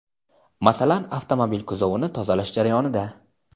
masalan, avtomobil kuzovini tozalash jarayonida.